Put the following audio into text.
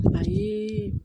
A ye